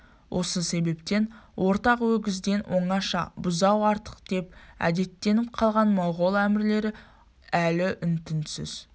осы себептен ортақ өгізден оңаша бұзау артықдеп әдеттеніп қалған моғол әмірлері әлі үн-түнсіз